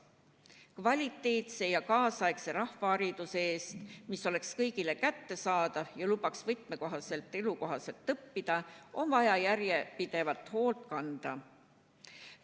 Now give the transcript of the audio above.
Kvaliteetse ja tänapäevase rahvahariduse eest, mis oleks kõigile kättesaadav ja lubaks võimetekohaselt ja õppida, on vaja järjepidevalt hoolt kanda.